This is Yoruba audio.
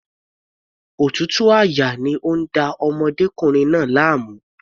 Òtútù àyà ni ó ń da ọmọdékùnrin náà láàmú.